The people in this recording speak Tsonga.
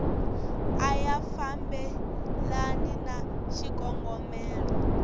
a ya fambelani na xikongomelo